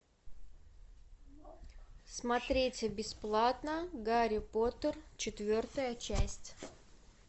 смотреть бесплатно гарри поттер четвертая часть